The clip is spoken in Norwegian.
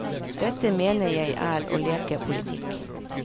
Dette mener jeg er å leke politikk.